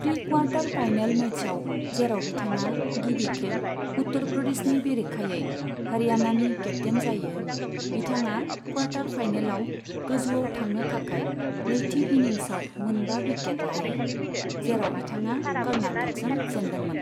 Pre quarter final मैचआव, जेराव बिथाङा गिबि खेब उत्तर प्रदेशनि बेरेखायै हरियाणानि केप्टेइन जायो, बिथाङा क्वार्टर फाइनेलआव गोजौआव थांनो थाखाय नैथि इनिंसआव मोनबा विकेट लायो, जेराव बिथाङा कर्नाटकजों जेनदोंमोन।